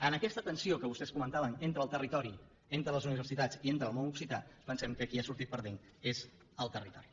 en aquesta tensió que vostès comentaven entre el territori entre les universitats i entre el món occità pensem que qui hi ha sortit perdent és el territori